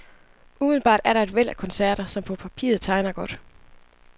Umiddelbart er der et væld af koncerter, som på papiret tegner godt.